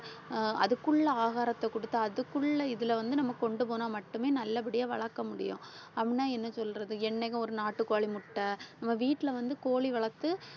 அஹ் அதுக்குள்ள ஆகாரத்தை குடுத்து அதுக்குள்ள இதுல வந்து நம்ம கொண்டுபோனா மட்டுமே நல்லபடியா வளர்க்க முடியும். அப்படின்னா என்ன சொல்றது என்னைக்கும் ஒரு நாட்டுக்கோழி முட்டை நம்ம வீட்டுல வந்து கோழி வளர்த்து